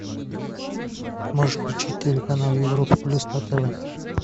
можешь включить телеканал европа плюс на тв